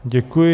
Děkuji.